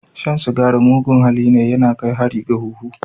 Shan cigari mugun halli ne, ya na kai hari ga huhu.